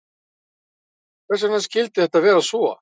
Hvers vegna skyldi þetta vera svo?